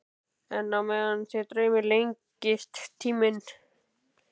En á meðan þig dreymir lengist minn tími.